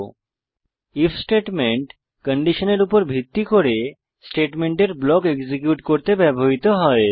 if statement কন্ডিশনের উপর ভিত্তি করে স্টেটমেন্টের ব্লক এক্সিকিউট করতে ব্যবহৃত হয়